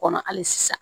Kɔnɔ hali sisan